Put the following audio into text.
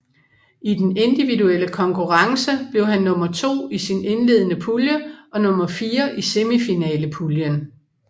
I den individuelle konkurrence blev han nummer to i sin indledende pulje og nummer fire i semifinalepuljen